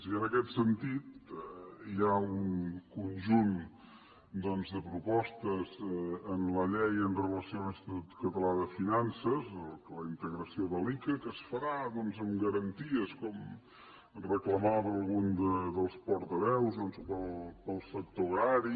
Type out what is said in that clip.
i en aquest sentit hi ha un conjunt de propostes en la llei amb relació a l’institut català de finances la integració de l’ica que es farà amb garanties com reclamava algun dels portaveus doncs per al sector agrari